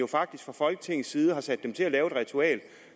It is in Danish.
faktisk fra folketingets side har sat dem til at lave et ritual